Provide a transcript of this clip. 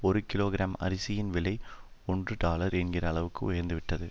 ஒரு கிலோகிராம் அரிசியின் விலை ஒன்று டாலர் என்கிற அளவுக்கு உயர்ந்து விட்டது